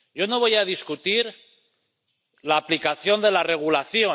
Yo no voy a discutir la aplicación de la regulación.